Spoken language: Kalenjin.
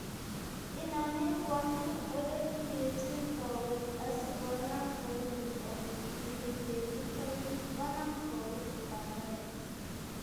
Inome koamin oletuyechin kowek asikonam koimin ot kit ne iwenditoi. Konam kouit pandaet.